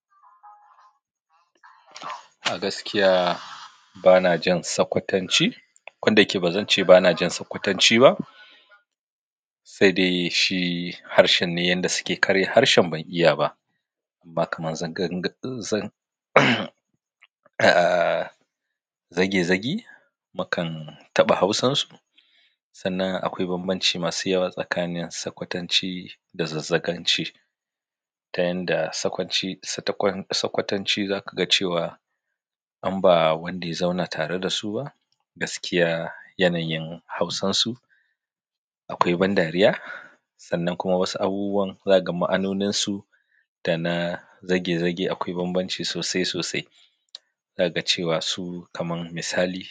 A gaskiya bana jin sakwatanci. Koda yake, ba zan ce bana jin sakwatanci ba, sai dai shi harshen ne yanda suke karya harshen ban iya ba, amma kaman zan ga-- zan aaa, zage zage, mukan taɓa hausansu. Sannan akwai bambanci masu yawa tsakanin sakwatanci da zazzaganci. Ta yanda sakwanci, satakon, sakwatanci za ka ga cewa in ba wanda ya zauna tare da su ba. Gaskiya, yanayin hausansu akwai ban dariya. Sannan kuma wasu abubuwan za ka ga ma'anonin su da na zage zage akwai bambanci sosai sosai. Za ka ga cewa su kaman misali.